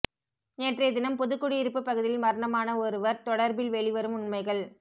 நேற்றைய தினம் புதுக்குடியிருப்பு பகுதியில் மரணமான ஒருவர் தொடர்பில் வெளிவரும் உண்மைகள்